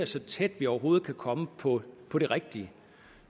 så tæt vi overhovedet kan komme på på det rigtige